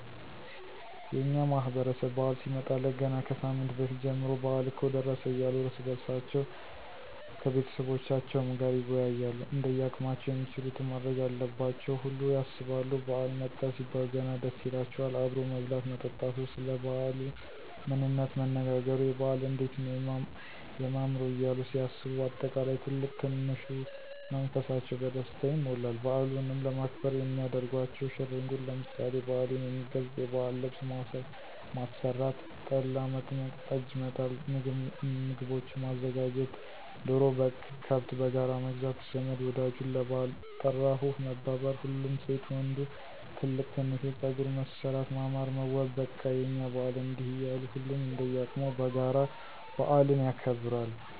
የእኛ ማህበረሰብ በዓል ሲመጣለት ገና ከሳምንት በፊት ጀምሮ በአል እኮ ደረሰ እያሉ እርስ በእርሳቸዉ ከቤተሰቦቻቸዉም ጋር ይወያያሉ እንደያቅማቸዉም የሚችሉትን ማድረግ ያለባቸውን ሁሉ ያሰባሉ ባዓል መጣ ሲባል ገና ደስ ይላቸዋል አብሮ መብላት መጠጣቱ፣ ሰለ ባዓሉ ምንነት መነጋገሩ፣ የበዓል እንዴት ነዉ የማምረዉ እያሉ ሲያስቡ በአጠቃላይ ትልቅ ትንሹ መንፈሳቸዉ በደስታ ይሞላል። በዓሉንም ለማክበር የሚያደርጓቸዉ ሽር እንጉድ ለምሳሌ፦ በዓሉን የሚገልፅ የባዕል ልብስ ማሰራት፣ ጠላ፣ መጥመቅ፣ ጠጅ፣ መጣል፣ ምግቦችን ማዘጋጀት፣ ዶሮ፣ በግ፣ ከብት በጋራ መግዛት ዘመድ ወዳጁን ለባዕል ጠራሁህ መባባል፣ ሁሉም ሴት ወንዱ ትልቅ ትንሹ ፀጉር መሠራት ማማር መዋብ በቃ የእኛ በዓል እንዲህ እያሉ ሁሉም እንደየቅሙ በጋራ በአልን ያከብራል።